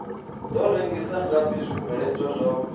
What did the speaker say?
do rengisa ngafhi zwibveledzwa zwavho